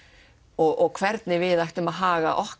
og hvernig við ættum að haga okkar